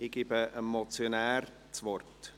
Ich gebe dem Motionär das Wort.